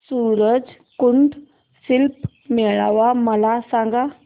सूरज कुंड शिल्प मेळावा मला सांग